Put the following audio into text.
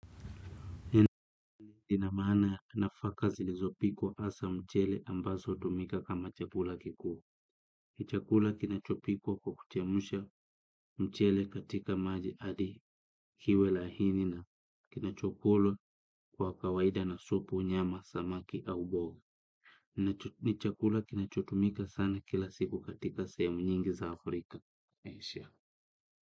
Ina maana nafaka zilizopikwa hasa mchele ambazo hutumika kama chakula kikuu. Ni chakula kinachopikwa kwa kuchemsha mchele katika maji hadi kiwe laini na kinachokulwa kwa kawaida na supu nyama samaki au mboga ni chakula kinachotumika sana kila siku katika sehemu nyingi za africa na asia.